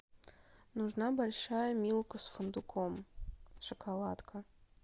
нужна большая милка с фундуком шоколадка